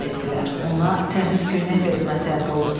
Ona təmiz köynək verilməsi əmr olundu.